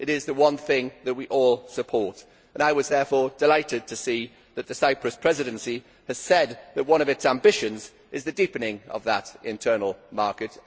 It is the one thing that we all support, and I was therefore delighted see that the Cyprus Presidency has said that one of its ambitions is the deepening of that internal market.